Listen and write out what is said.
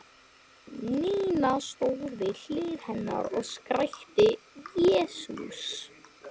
Nína stóð við hlið hennar og skrækti: Jesús!